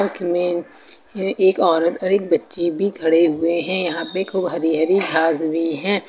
एक में एक औरत और एक बच्ची भी खड़े हुए हैं यहां पे खूब हरी हरी घास भी हैं।